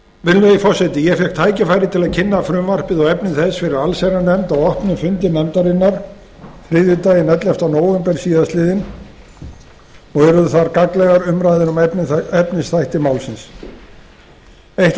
virðulegi forseti ég fékk tækifæri til að kynna frumvarpið og efni þess fyrir allsherjarnefnd á opnum fundi nefndarinnar þriðjudaginn ellefta nóvember síðastliðinn urðu þar gagnlegar umræður um efnisþætti málsins eitt af